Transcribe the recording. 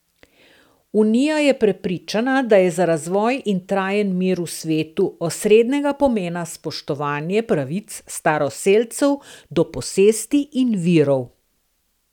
Unija je prepričana, da je za razvoj in trajen mir v svetu osrednjega pomena spoštovanje pravic staroselcev do posesti in virov.